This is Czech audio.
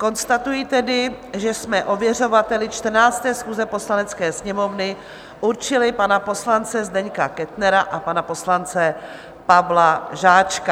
Konstatuji tedy, že jsme ověřovateli 14. schůze Poslanecké sněmovny určili pana poslance Zdeňka Kettnera a pana poslance Pavla Žáčka.